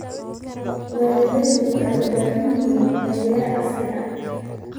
Beeraleydu waxay u baahan yihiin taageero casri ah.